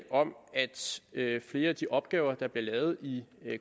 flere af de opgaver der bliver lavet i